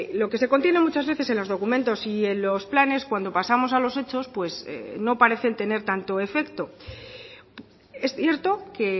lo que se contiene muchas veces en los documentos y en los planes cuando pasamos a los hechos pues no parecen tener tanto efecto es cierto que